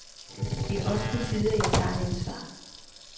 Det er også på tide, at jeg tager et ansvar.